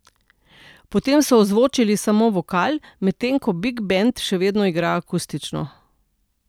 Potem so ozvočili samo vokal, medtem ko big bend še vedno igra akustično.